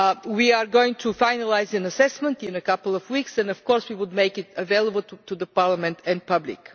We are going to finalise an assessment in a couple of weeks and, of course, we will make it available to Parliament and the public.